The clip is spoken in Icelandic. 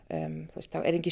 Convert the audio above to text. það eru engir